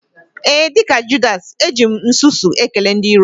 Ee, dịka Judasị, eji m nsusu ekele ndị iro m